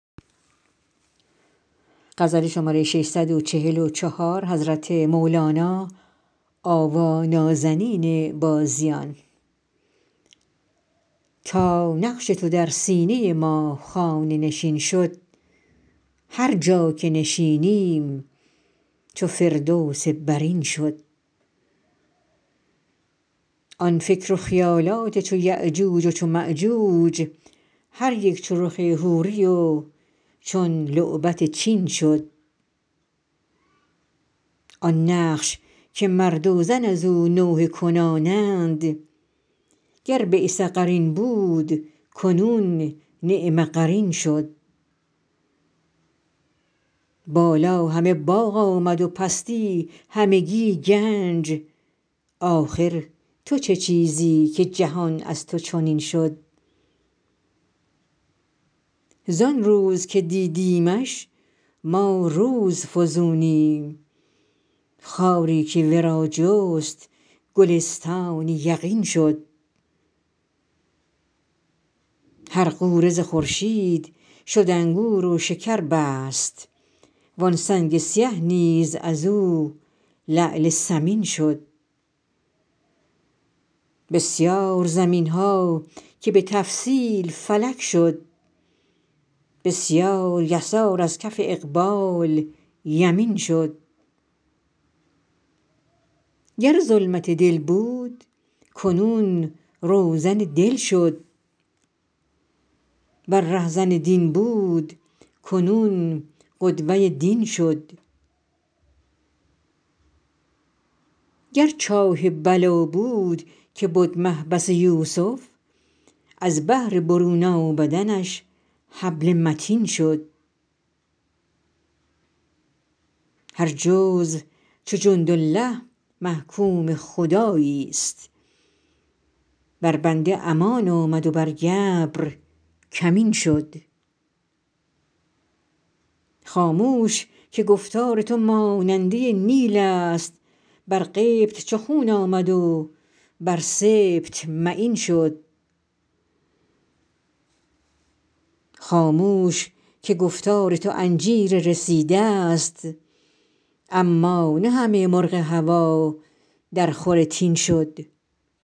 تا نقش تو در سینه ما خانه نشین شد هر جا که نشینیم چو فردوس برین شد آن فکر و خیالات چو یأجوج و چو مأجوج هر یک چو رخ حوری و چون لعبت چین شد آن نقش که مرد و زن از او نوحه کنانند گر بیس قرین بود کنون نعم قرین شد بالا همه باغ آمد و پستی همگی گنج آخر تو چه چیزی که جهان از تو چنین شد زان روز که دیدیمش ما روزفزونیم خاری که ورا جست گلستان یقین شد هر غوره ز خورشید شد انگور و شکر بست وان سنگ سیه نیز از او لعل ثمین شد بسیار زمین ها که به تفصیل فلک شد بسیار یسار از کف اقبال یمین شد گر ظلمت دل بود کنون روزن دل شد ور رهزن دین بود کنون قدوه دین شد گر چاه بلا بود که بد محبس یوسف از بهر برون آمدنش حبل متین شد هر جزو چو جندالله محکوم خداییست بر بنده امان آمد و بر گبر کمین شد خاموش که گفتار تو ماننده نیلست بر قبط چو خون آمد و بر سبط معین شد خاموش که گفتار تو انجیر رسیدست اما نه همه مرغ هوا درخور تین شد